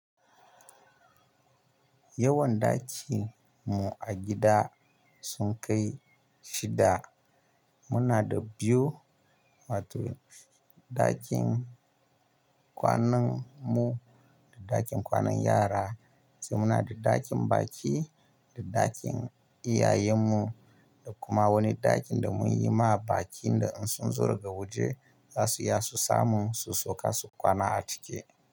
Yawan daki mu a gida sun kai shida. Muna da biyu, wato ɗakin kwanan mu da ɗakin kwanan yara, sai muna da ɗakin baki da ɗakin iyayen mu da kuma wani ɗakin da mun yi ma bakin da in sun zo daga waje za su iya su samu su sauka su kwana a ciki.